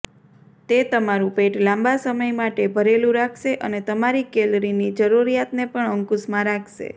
તે તમારું પેટ લાંબા સમય માટે ભરેલું રાખશે અને તમારી કેલરીની જરૂરિયાતને પણ અંકુશમાં રાખશે